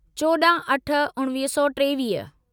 चोॾाहं अठ उणिवीह सौ टेवीह